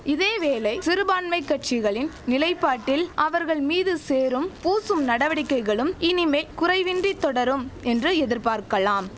இதேவேளை சிறுபான்மைக் கட்சிகளின் நிலைப்பாட்டில் அவர்கள்மீது சேறும் பூசும் நடவடிக்கைகளும் இனிமே குறைவின்றித் தொடரும் என்று எதிர்பார்க்கலாம்